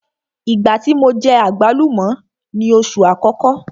Ìgbá tí mo jẹ àgbálùmọ́ ni oṣù àkọ́kọ́.